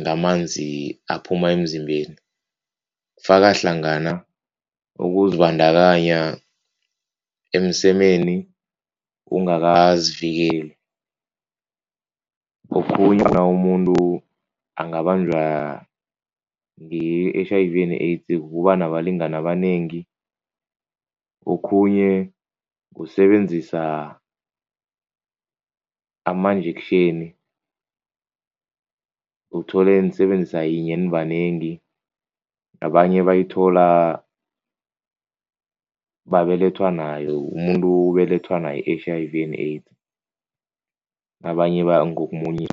ngamanzi aphuma emzimbeni kufaka hlangana ukuzibandakanya emsemeni ungakazivikeli, okhunye umuntu angabanjwa yi-H_I_V and AIDS ukuba nabalingani abanengi, okhunye kusebenzisa amanjektjheni, uthole nisebenzisa yinye nibanengi, abanye bayithola babelethwa nayo, umuntu ubelethwa nayo i-H_I_V and AIDS, abanye